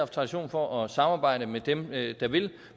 tradition for at samarbejde med dem der vil